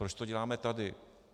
Proč to děláme tady?